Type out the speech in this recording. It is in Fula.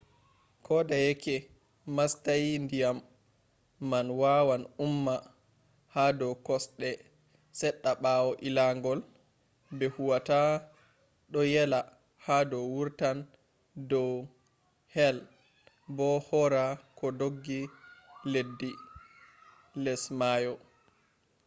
kodeyeke mastayi diyam man wawan umma hado kosde sedda bawo illangol be huwata do yela hado wartan do he’i bo hora koh doggi leddibars less mayo